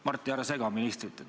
Mart, ära sega ministrit!